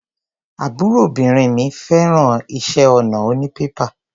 Àbúròbìnrin mi fẹ́ràn iṣẹ́ ọnà onípépà.